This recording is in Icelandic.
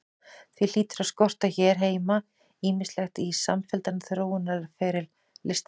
Því hlýtur að skorta hér heima ýmislegt í samfelldan þróunarferil listamannsins.